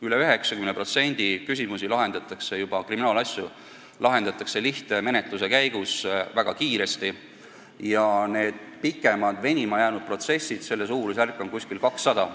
Üle 90% kriminaalasjadest lahendatakse lihtmenetluse käigus väga kiiresti, pikemalt venima jäänud protsesside arv on umbes 200.